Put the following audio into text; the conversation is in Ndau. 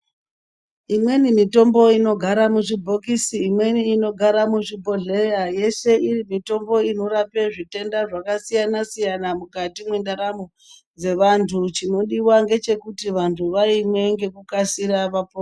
Imweni mitombo inogara muzvibhokisi imweni inogara muzvibhodhleya yeshe iri mitombo inorape zvitenda zvakasiyana siyana mukati mwendaramo dzevanthu chinodiwa ngechekuti vanthu vaimwe ngekukasira kuti vapone.